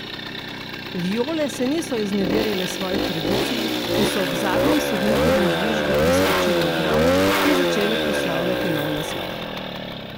Viole se niso izneverile svoji tradiciji in so ob zadnjem sodnikovem žvižgu preskočile ograjo in začele proslavljati nov naslov.